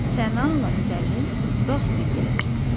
Sənanla Səlim dost idilər.